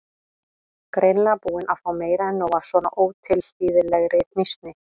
Greinilega búin að fá meira en nóg af svona ótilhlýðilegri hnýsni.